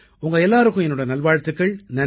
உங்க எல்லாருக்கும் என்னோட நல்வாழ்த்துக்கள்